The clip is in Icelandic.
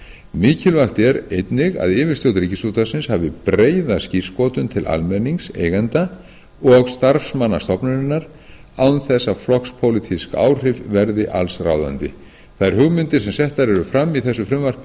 mikilvægt er einnig að yfirstjórn ríkisútvarpsins hafi breiða skírskotun til almennings eigenda og starfsmanna stofnunarinnar án þess að flokkspólitísk áhrif verði alls ráðandi þær hugmyndir sem settar eru fram í þessu frumvarpi